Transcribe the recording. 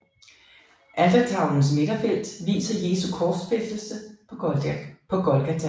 Altertavlens midterfelt viser Jesu korsfæstelse på Golgata